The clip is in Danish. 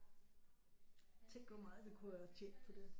Tænk hvor meget vi kunne have tjent på det